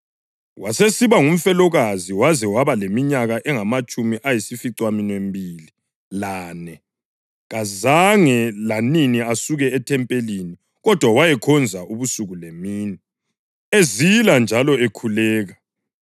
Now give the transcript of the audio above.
wasesiba ngumfelokazi waze waba leminyaka engamatshumi ayisificaminwembili lane. Kazange lanini asuke ethempelini kodwa wayekhonza ubusuku lemini, ezila njalo ekhuleka.